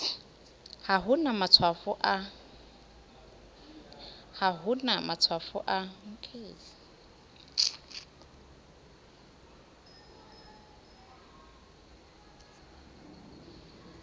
ha ho na matshwafo a